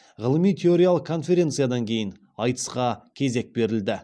ғылыми теориялық конференциядан кейін айтысқа кезек берілді